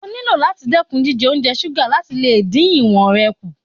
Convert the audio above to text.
O nílò láti dẹ́kun jíjẹ oúnjẹ ṣúgà láti lè dín ìwọ̀n rẹ kù.